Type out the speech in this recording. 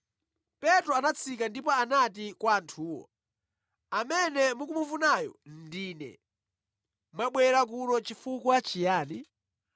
Petro anatsika ndipo anati kwa anthuwo, “Amene mukufunayo ndine. Mwabwera kuno chifukwa chiyani?”